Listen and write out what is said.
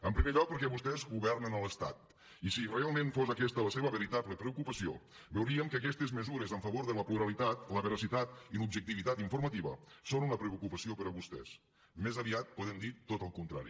en primer lloc perquè vostès governen a l’estat i si realment fos aquesta la seva veritable preocupació veuríem que aquestes mesures en favor de la pluralitat la veracitat i l’objectivitat informativa són una preocupació per a vostès més aviat podem dir tot el contrari